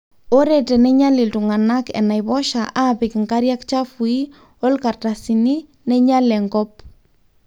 ore teneinyal iltungana inaipoosha apik nkariak chafui o ilkartasini neinyal enkop